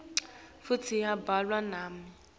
futsi yabhalwa nami